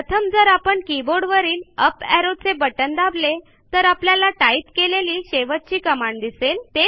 प्रथम जर आपण कीबोर्डवरील अप एरो चे बटण दाबले तर आपल्याला टाईप केलेली शेवटची कमांड दिसेल